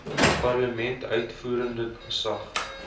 parlement uitvoerende gesag